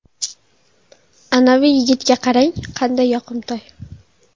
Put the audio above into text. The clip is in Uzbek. Anavi yigitga qarang, qanday yoqimtoy.